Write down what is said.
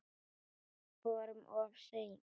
Vorum við of seinir?